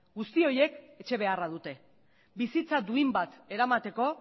guzti horiek etxe beharra dute bizitza duin bat eramateko